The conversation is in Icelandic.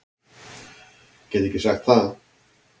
Get ekki sagt það.